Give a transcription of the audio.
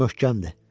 Möhkəmdir.